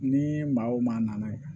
Ni maa o maa nana